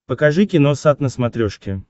покажи киносат на смотрешке